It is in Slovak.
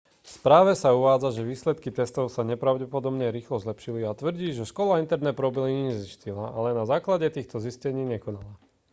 v správe sa uvádza že výsledky testov sa nepravdepodobne rýchlo zlepšili a tvrdí že škola interne problémy zistila ale na základe týchto zistení nekonala